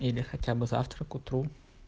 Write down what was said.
или хотя бы завтра к утру